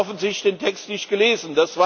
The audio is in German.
Er hat offensichtlich den Text nicht gelesen.